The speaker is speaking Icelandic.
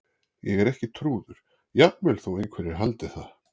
Ég er ekki trúður- jafnvel þó einhverjir haldið það.